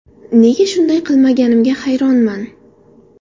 Nega shunday qilmaganimga hayronman.